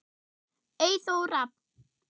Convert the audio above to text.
Eyþór Rafn.